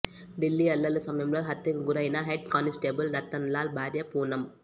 దిల్లీ అల్లర్ల సమయంలో హత్యకు గురయిన హెడ్ కానిస్టేబుల్ రతన్లాల్ భార్య పూనమ్